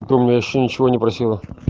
ты у меня вообще ничего не просила